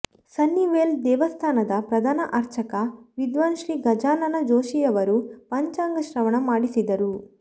Sunnyvale ದೇವಸ್ಥಾನದ ಪ್ರಧಾನ ಅರ್ಚಕ ವಿದ್ವಾನ್ ಶ್ರೀ ಗಜಾನನ ಜೋಷಿಯವರು ಪಂಚಾಂಗ ಶ್ರವಣ ಮಾಡಿಸಿದರು